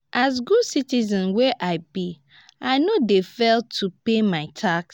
as good citizen wey i be i no dey fail to pay my tax.